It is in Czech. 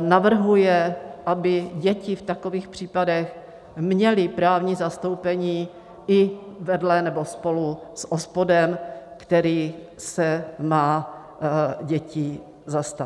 navrhuje, aby děti v takových případech měly právní zastoupení i vedle nebo spolu s OSPODem, který se má dětí zastat.